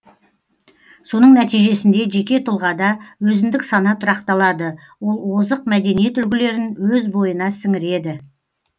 соның нәтижесінде жеке тұлғада өзіндік сана тұрақталады ол озық мәдениет үлгілерін өз бойына сіңіреді